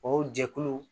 O jɛkulu